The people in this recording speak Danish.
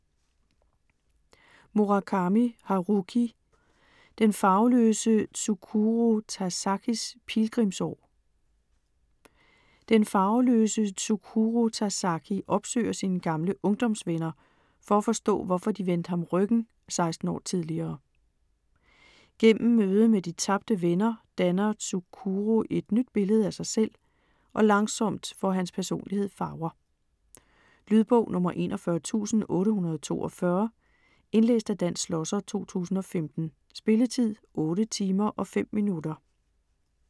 Murakami, Haruki: Den farveløse Tsukuru Tazakis pilgrimsår Den farveløse Tsukuru Tazaki opsøger sine gamle ungdomsvenner, for at forstå hvorfor de vendte ham ryggen 16 år tidligere. Gennem mødet med de tabte venner, danner Tsukuru et nyt billede af sig selv, og langsomt får hans personlighed farver. Lydbog 41842 Indlæst af Dan Schlosser, 2015. Spilletid: 8 timer, 5 minutter.